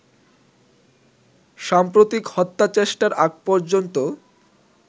সাম্প্রতিক হত্যাচেষ্টার আগ পর্যন্ত